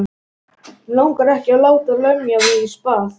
Mig langar ekki að láta lemja mig í spað.